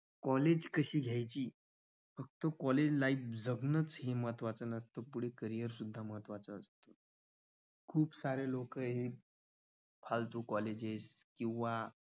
college कशी घ्यायची फक्त college life जगणं हेच महत्त्वाचं नसतं. करियर सुद्धा महत्वाचे असत. खूप सारे लोक आहेत. फालतू college आहेत किंवा